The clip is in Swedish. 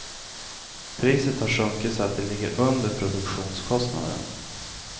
Priset har sjunkit så att det ligger under produktionskostnaden.